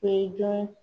O ye jɔn